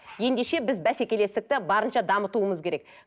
ендеше біз бәсекелестікті барынша дамытуымыз керек